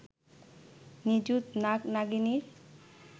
নিযুত নাগ-নাগিনীর